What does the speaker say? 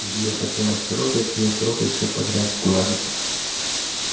илье хотелось трогать её трогать все подряд гладить